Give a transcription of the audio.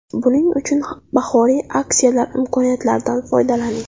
Buning uchun bahoriy aksiyalar imkoniyatlaridan foydalaning.